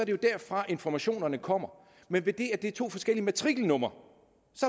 jo derfra informationerne kommer men idet det er to forskellige matrikelnumre